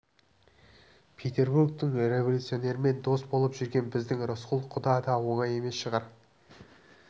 петербургтің революционерімен дос болып жүрген біздің рысқұл құда да оңай емес шығар